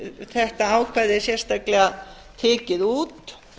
þetta ákvæði er sérstaklega tekin út